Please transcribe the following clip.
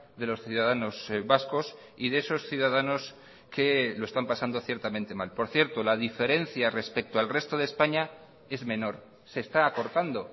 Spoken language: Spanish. de los ciudadanos vascos y de esos ciudadanos que lo están pasando ciertamente mal por cierto la diferencia respecto al resto de españa es menor se está acortando